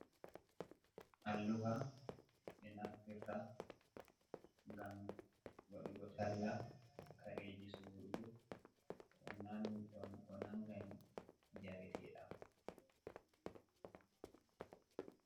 Alluha ɓe nafftirta gam waɗugo talla kareji sorugo ko nangani jarete ɗam.